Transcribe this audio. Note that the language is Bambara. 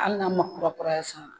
Hali n'a man kurakuraya san.